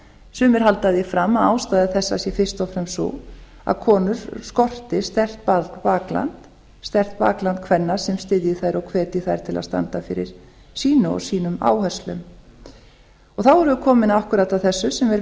sumir halda því fram að ástæða þessa sé fyrst og fremst sú að konur skorti sterkt bakland sterkt bakland kvenna sem styðji þær og hvetji þær til að standa fyrir sínu og sínum áherslum þá erum við komin akkúrat að þessu sem er